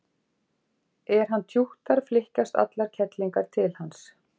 er hann tjúttar flykkjast allar kellingar til hans